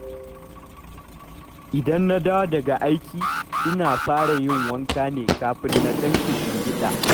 Idan na dawo daga aiki, ina fara yin wanka ne kafin na ɗan kishingiɗa